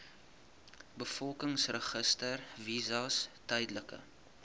bevolkingsregister visas tydelike